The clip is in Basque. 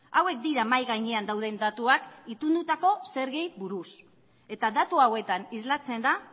hauek dira mahai gainean dauden datuak itundutako zergei buruz eta datu hauetan islatzen da